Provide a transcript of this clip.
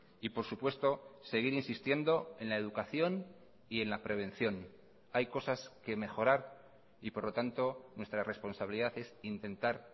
y por supuesto seguir insistiendo en la educación y en la prevención hay cosas que mejorar y por lo tanto nuestra responsabilidad es intentar